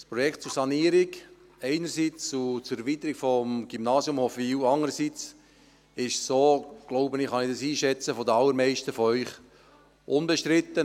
Das Projekt zur Sanierung einerseits und zur Erweiterung des Gymnasiums Hofwil andererseits ist, so glaube ich es einschätzen zu können, bei den allermeisten von Ihnen unbestritten.